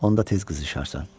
Onda tez qızışarsan.